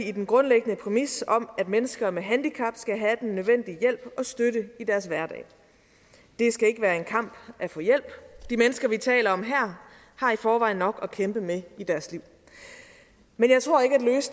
i den grundlæggende præmis om at mennesker med handicap skal have den nødvendige hjælp og støtte i deres hverdag det skal ikke være en kamp at få hjælp de mennesker vi taler om her har i forvejen nok at kæmpe med i deres liv men